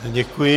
Děkuji.